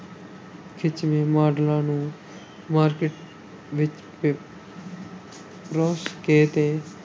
ਖਿੱਚਵੇਂ ਮਾਡਲਾਂ ਨੂੰ market ਵਿੱਚ ਪ ਪਰੋਸ ਕੇ ਤੇ